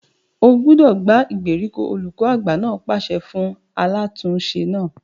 O gbúdọ̀ gbá ìgbèríko! olùkọ àgbà náà pàṣẹ fún alátùn-ún-se náà.